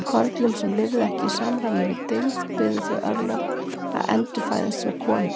Körlum sem lifðu ekki í samræmi við dygð biðu þau örlög að endurfæðast sem konur.